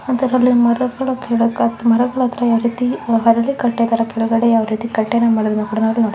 ಇದರಲ್ಲಿ ಮರಗಳು ಗಿಡಗಳು ಮರಗಳ ಅತ್ರ ಯಾವ ರೀತಿ ಪರದೇ ಕಟ್ಟಿದರೆ ಕೆಲ್ಗಡೆ ಯಾವ ರೀತಿ ಕಟ್ಟಿನ ಮರಗಳ --